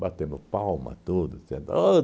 Batendo palma, tudo. Dizendo ôh